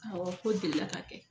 Awɔ k'o delila ka kɛ